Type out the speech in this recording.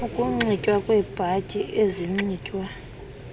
ukunxitywa kweebhatyi ezinxitywa